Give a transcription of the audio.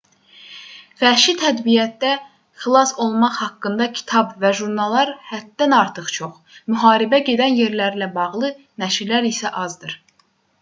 vəhşi təbiətdə xilas olmaq haqqında kitab və jurnallar həddən artıq çox müharibə gedən yerlərlə bağlı nəşrlər isə azdır